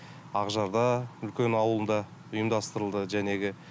ақжарда үлкен ауылында ұйымдастырылды жәнегі